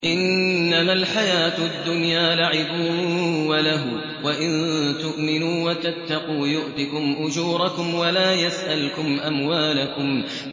إِنَّمَا الْحَيَاةُ الدُّنْيَا لَعِبٌ وَلَهْوٌ ۚ وَإِن تُؤْمِنُوا وَتَتَّقُوا يُؤْتِكُمْ أُجُورَكُمْ وَلَا يَسْأَلْكُمْ أَمْوَالَكُمْ